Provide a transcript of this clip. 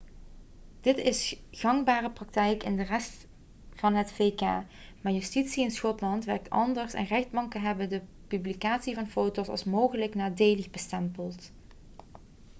dit is gangbare praktijk in de rest van het vk maar justitie in schotland werkt anders en rechtbanken hebben de publicatie van foto's als mogelijk nadelig bestempeld